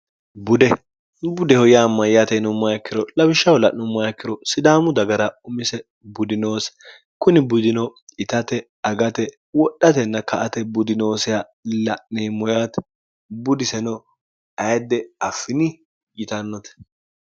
budebudeho yaa mayyaateino mayikkiro lawishshaho la'nommayikkiro sidaamu dagara umise budinoosi kuni budino itate agate wodhatenna ka ate budinoosiha la'neemmoyaate budiseno ayidde affini yitannote